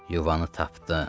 Yuvanı tapdım.